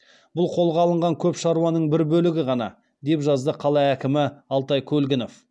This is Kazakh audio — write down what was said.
бұл қолға алынған көп шаруаның бір бөлігі ғана деп жазды қала әкімі алтай көлгінов